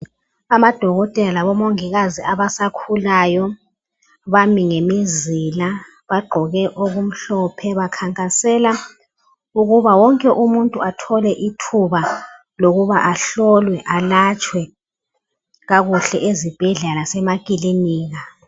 Amadokotela labomongikazi abasakhulayo bami ngemizila bagqoke okumhlophe bakhankasela ukuba wonke umuntu athole ithuba lokuba ahlolwe alatshwe kakuhle ezibhedlela lasemakilinika.